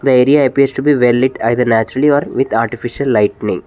The area appears to be well lit either naturally or with artificial lightning.